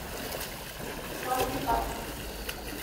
лангепасу